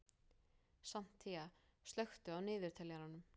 Santía, slökktu á niðurteljaranum.